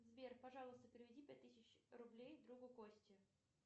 сбер пожалуйста переведи пять тысяч рублей другу косте